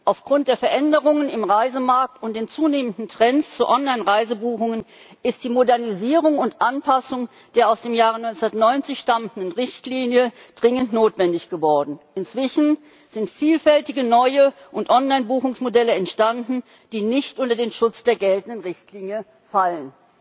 Aufgrund der Veränderungen im Reisemarkt und dem zunehmenden Trend zu Online Reisebuchungen ist die Modernisierung und Anpassung der aus dem Jahre 1990 stammenden Richtlinie dringend notwendig geworden. Inzwischen sind vielfältige neue und Online Buchungsmodelle entstanden, die nicht unter den Schutz der geltenden Richtlinie fallen.